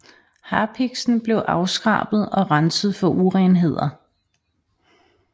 Harpiksen bliver afskrabet og renset for urenheder